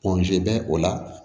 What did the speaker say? bɛ o la